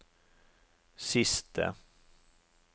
siste